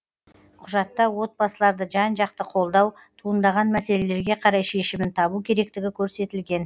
құжатта отбасыларды жан жақты қолдау туындаған мәселелерге қарай шешімін табу керектігі көрсетілген